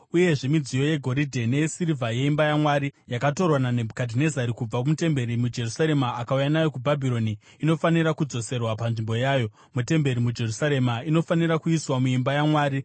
Uyezve midziyo yegoridhe neyesirivha yeimba yaMwari yakatorwa naNebhukadhinezari kubva mutemberi muJerusarema akauya nayo kuBhabhironi, inofanira kudzoserwa panzvimbo yayo mutemberi muJerusarema; inofanira kuiswa muimba yaMwari.